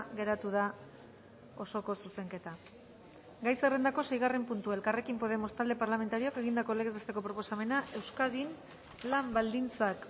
geratu da osoko zuzenketa gai zerrendako seigarren puntua elkarrekin podemos talde parlamentarioak egindako legez besteko proposamena euskadin lan baldintzak